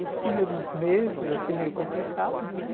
Os primeiros meses, assim, meio complicado, né?